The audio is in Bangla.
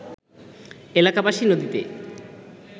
এলাকাবাসী নদীতে